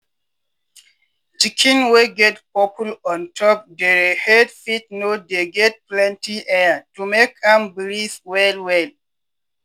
chicken wey get purple ontop dere head fit no dey get plenty air to make am breathe well well.